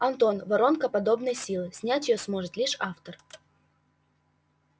антон воронка подобной силы снять её сможет лишь автор